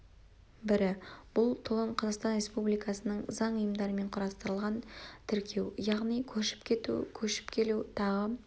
бірі бұл толон қазақстан республикасының заң ұйымдарымен құрастырылған тіркеу яғни көшіп кету көшіп келу тағы